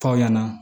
F'aw ɲɛna